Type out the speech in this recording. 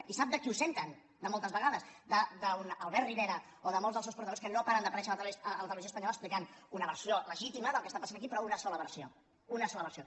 i sap de qui ho senten moltes vegades d’un albert rivera o de molts dels seus portaveus que no paren d’aparèixer a la televisió espanyola explicant una versió legítima del que passa aquí però una sola versió una sola versió